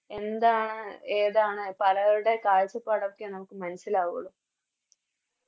എന്താണ് ഏതാണ് പലരുടെയും കാഴ്ചപ്പാട് ഒക്കെ നമുക്ക് മനസ്സിലാവുള്ളു